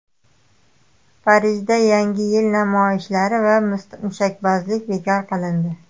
Parijda Yangi yil namoyishlari va mushakbozlik bekor qilindi.